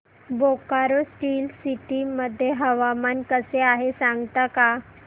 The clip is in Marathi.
बोकारो स्टील सिटी मध्ये हवामान कसे आहे सांगता का